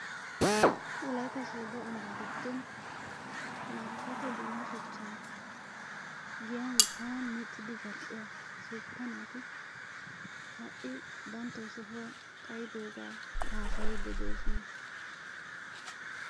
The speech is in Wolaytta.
wolaytta soodo ambaa giddon markaato dumma shchan giyan sa'an miccidi zal'iya naati ha'i sohuwa xayidooga haasayiddi de'oosona.